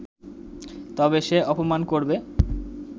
তবে সে অপমান করবে